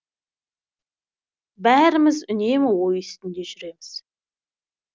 бәріміз үнемі ой үстінде жүреміз